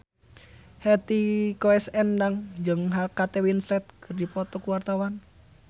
Hetty Koes Endang jeung Kate Winslet keur dipoto ku wartawan